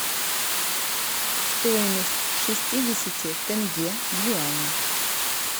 стоимость шестидесяти тенге в юани